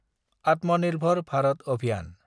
आत्मनिर्भर भारत अभियान